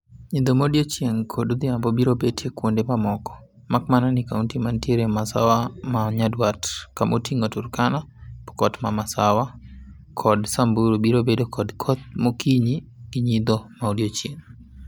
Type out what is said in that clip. Nyidho maodiochieng' kod odhiambo biro betie kuonde mamoko. Makmana ni kaunti manitiere masawa ma nyanduat kama oting'o Turkana, Pokot ma masawa kod Samburu biro bedo kod koth mokinyi gi nyidho ma odiochieng'.